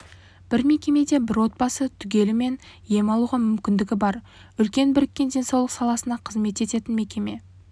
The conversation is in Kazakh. бір мекемеде бір отбасы түгелімен ем алуға мүмкіндігі бар үлкен біріккен денсаулық саласына қызмет ететін мекеме